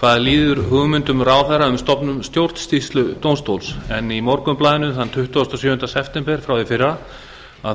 hvað líður hugmyndum ráðherra um stofnun stjórnsýsludómstóls í morgunblaðinu þann tuttugasta og sjöunda september frá í fyrra